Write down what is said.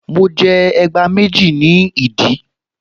Mo jẹ ẹgbá méjì ní ìdí